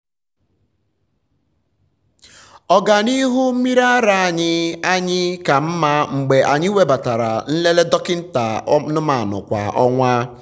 ọganihu mmiri ara anyị anyị ka mma mgbe anyị webatara nlele dọkịta anụmanụ kwa ọnwa.